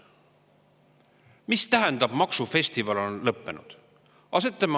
Mis tähendab, et maksufestival on lõppenud?